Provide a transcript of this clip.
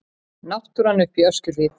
Náttúran uppi í Öskjuhlíð.